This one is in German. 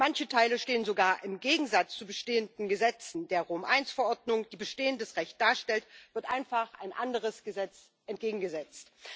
Manche Teile stehen sogar im Gegensatz zu bestehenden Gesetzen Der Rom I Verordnung, die bestehendes Recht darstellt, wird einfach ein anderes Gesetz entgegengesetzt.